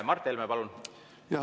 Mart Helme, palun!